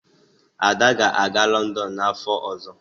Ada ga-aga Lọndọn n'afọ ọzọ